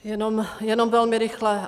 Jenom velmi rychle.